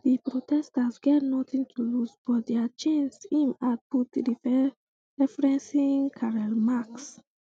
di protesters get nothing to lose but dia chains im add put referencing karl marx